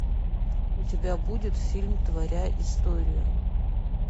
у тебя будет фильм творя историю